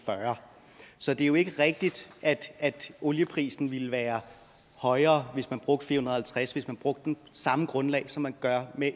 fyrre så det er jo ikke rigtigt at olieprisen ville være højere hvis man brugte fire hundrede og halvtreds hvis man brugte samme grundlag som man gør med